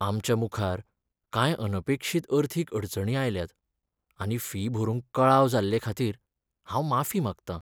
आमच्या मुखार कांय अनपेक्षीत अर्थीक अडचणी आयल्यात आनी फी भरूंक कळाव जाल्लेखातीर हांव माफी मागतां.